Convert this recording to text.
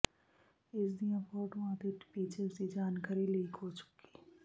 ਇਸਦੀਆਂ ਫੋਟੋਆਂ ਅਤੇ ਫੀਚਰਸ ਦੀ ਜਾਣਕਾਰੀ ਲੀਕ ਹੋ ਚੁੱਕੀ